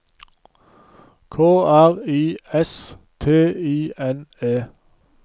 K R I S T I N E